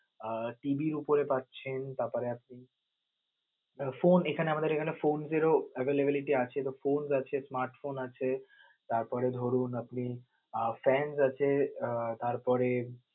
আহ TV র উপরে পাচ্ছেন, তারপরে আপনি phone এখানে আমাদের এখানে phone এর ও avialablity আছে তো phone আছে smart phone আছে, তারপরে ধরুন আপনি fans আছে আহ তারপরে